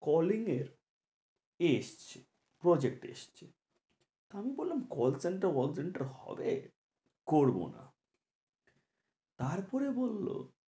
Calling এর কি এসেছে project এসেছে আমি বললাম call center হবে করবো না তারপরে বললো